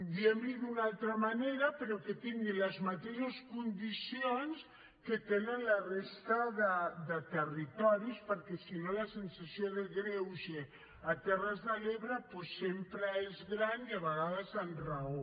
diguem li d’una altra manera però que tingui les mateixes condicions que tenen la resta de territoris perquè si no la sensació de greuge a les terres de l’ebre doncs sempre és gran i a vegades amb raó